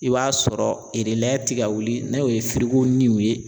I b'a sɔrɔ ti ka wuli n'a ye o ye niw ye